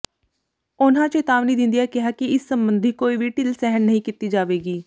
ਉਨ੍ਹਾਂ ਚੇਤਾਵਨੀ ਦਿੰਦਿਆਂ ਕਿਹਾ ਕਿ ਇਸ ਸਬੰਧੀ ਕੋਈ ਵੀ ਢਿੱਲ ਸਹਿਣ ਨਹੀਂ ਕੀਤੀ ਜਾਵੇਗੀ